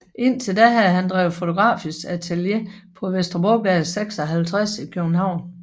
Indtil da havde han drevet fotografisk atelier på Vesterbrogade 56 i København